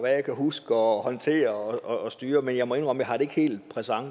jeg kan huske og håndtere og styre men jeg må indrømme at har det hele